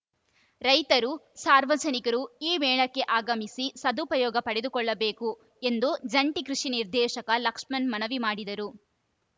ರೈತರು ಸಾರ್ವಜನಿಕರು ಈ ಮೇಳಕ್ಕೆ ಆಗಮಿಸಿ ಸದುಪಯೋಗ ಪಡೆದುಕೊಳ್ಳಬೇಕು ಎಂದು ಜಂಟಿ ಕೃಷಿ ನಿರ್ದೇಶಕ ಲಕ್ಷ್ಮಣ್‌ ಮನವಿ ಮಾಡಿದರು